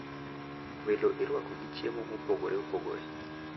Welo irwako gi chiemo mopogore opogore,